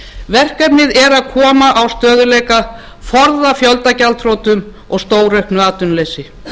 verkefnið er að koma á stöðugleika forða fjöldagjaldþrotum og stórauknu atvinnuleysi